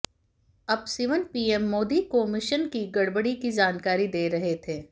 जब सिवन पीएम मोदी को मिशन की गड़बड़ी की जानकारी दे रहे थे